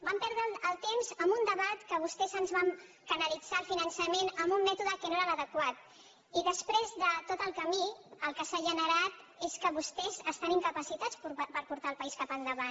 vam perdre el temps en un debat en què vostès ens van canalit·zar el finançament en un mètode que no era l’adequat i després de tot el camí el que s’ha generat és que vostès estan incapacitats per portar el país cap endavant